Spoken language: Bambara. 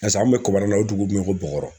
an kun bɛ kɔbarani na o dugu min bɛ yi ko BƆGƆRƆ.